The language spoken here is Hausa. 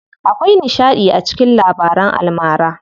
Akwai nishaɗi a cikin labaran almara.